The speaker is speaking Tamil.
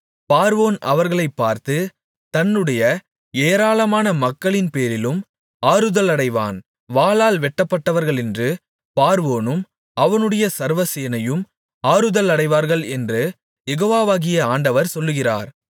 பார்வோன் அவர்களைப் பார்த்து தன்னுடைய ஏராளமான மக்களின்பேரிலும் ஆறுதலடைவான் வாளால் வெட்டப்பட்டார்களென்று பார்வோனும் அவனுடைய சர்வசேனையும் ஆறுதலடைவார்கள் என்று யெகோவாகிய ஆண்டவர் சொல்லுகிறார்